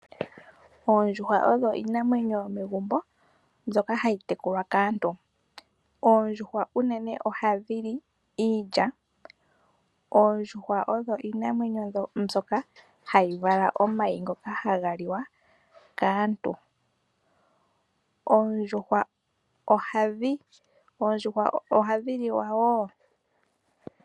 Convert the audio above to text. Oondjuhwa odho iinamwenyo yomegumbo mbyoka hayi tekulwa kaantu. Oondjuhwa unene oha dhi li iilya. Oondjuhwa odho iinamwenyo mbyoka hayi vala omayi ha ga liwa kaantu. Oondjuhwa oha dhi liwa wo.